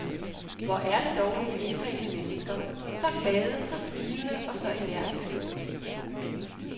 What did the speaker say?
Hvor er det dog nogle indtagende mennesker, så glade, så smilende og så energiske.